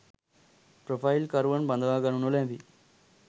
Profile කරුවන් බදවා ගනු නොලැබේ.